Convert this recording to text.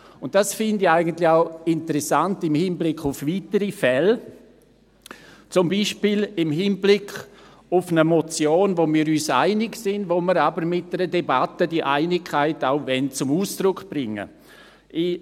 Dies finde ich eigentlich auch im Hinblick auf weitere Fälle interessant, zum Beispiel im Hinblick auf eine Motion, bei der wir uns einig sind, aber die Einigkeit mit einer Debatte zum Ausdruck bringen wollen.